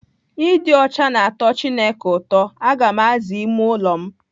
Ịdị ọcha na-atọ Chineke ụtọ. Aga m aza ime ụlọ m